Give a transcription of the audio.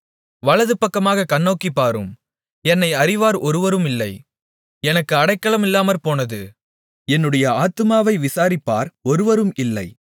வலதுபக்கமாகக் கண்ணோக்கிப் பாரும் என்னை அறிவார் ஒருவரும் இல்லை எனக்கு அடைக்கலமில்லாமற் போனது என்னுடைய ஆத்துமாவை விசாரிப்பார் ஒருவரும் இல்லை